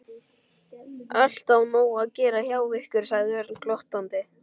Alltaf nóg að gera hjá ykkur sagði Örn glottandi.